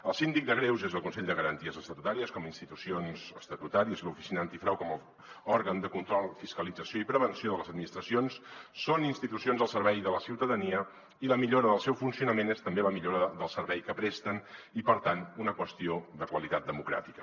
el síndic de greuges i el consell de garanties estatutàries com a institucions estatutàries i l’oficina antifrau com a òrgan de control fiscalització i prevenció de les administracions són institucions al servei de la ciutadania i la millora del seu funcionament és també la millora del servei que presten i per tant una qüestió de qualitat democràtica